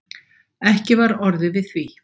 Ekki var orðið við því